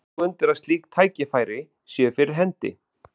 Tekur þú undir að slík tækifæri séu fyrir hendi?